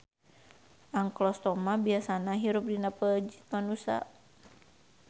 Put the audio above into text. Anklostoma biasana hirup dina peujit manusa.